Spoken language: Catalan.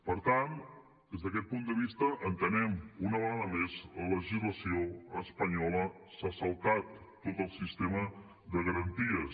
per tant des d’aquest punt de vista entenem que una vegada més la legislació espanyola s’ha saltat tot el sistema de garanties